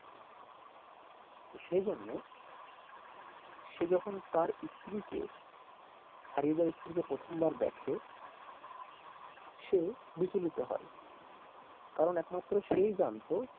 সেই জন্য সে যখন তার স্ত্রীকে হারিয়ে যাওয়া স্ত্রীকে প্রথম বার দেখে সে বিচলিত হয় কারণ একমাত্র সেই জানত,